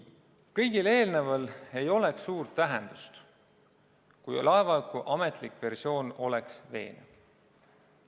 Kõigel eelneval ei oleks suurt tähendust, kui laevahuku ametlik versioon oleks veenev.